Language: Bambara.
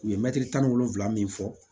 U ye mɛtiri tan ni wolonvila min fɔ